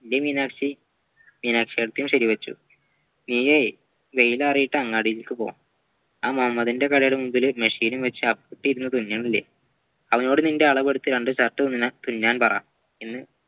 അല്ലേ മീനാക്ഷി മീനാക്ഷിയേറ്റതിയും ശെരിവെച്ചു ഈയ്യേ വെയിലാറീട്ട് അങ്ങാടിയിലേക്കുപോ ആ മമ്മദിന്റെ കടയിലെ മുമ്പിൽ machine ഉം വെച്ച് അപ്പുട്ടൻ ഇരുന്ന് തുന്നണില്ല അവനോടു നിൻ്റെ അളവെടുത്ത രണ്ട് shirt തുന്നാൻ പറ